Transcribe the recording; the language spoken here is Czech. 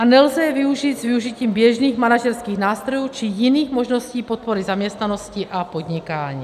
A nelze je využít s využitím běžných manažerských nástrojů či jiných možností podpory zaměstnanosti a podnikání.